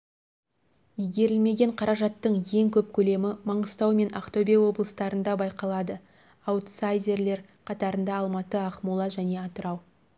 игерілмеген қаражаттың ең көп көлемі маңғыстау мен ақтөбе облыстарында байқалады аутсайдерлер қатарында алматы ақмола және атырау